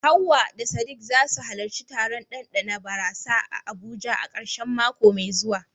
Hawwa da Sadiq za su halarci taron ɗanɗana barasa a Abuja a karshen mako mai zuwa.